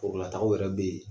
Forola taw yɛrɛ be yen.